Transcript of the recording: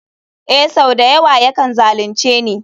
Ee sau da yawa yakan zalunce ni.